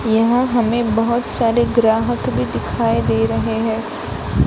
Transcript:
यहां हमें बहोत सारे ग्राहक भी दिखाई दे रहे हैं।